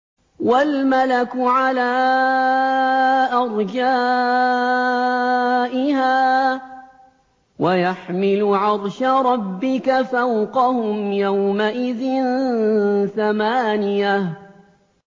وَالْمَلَكُ عَلَىٰ أَرْجَائِهَا ۚ وَيَحْمِلُ عَرْشَ رَبِّكَ فَوْقَهُمْ يَوْمَئِذٍ ثَمَانِيَةٌ